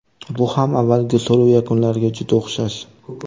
Bu ham avvalgi so‘rov yakunlariga juda o‘xshash.